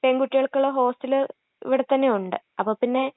പെൺകുട്ടികൾക്കുള്ള hostel ഇവിടെത്തന്നെയുണ്ട്. അപ്പൊ പിന്നെ...